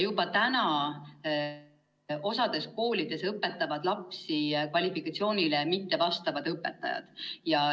Mõnes koolis õpetavad lapsi kvalifikatsioonile mitte vastavad õpetajad.